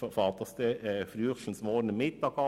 Dies beginnt frühestens morgen Mittag.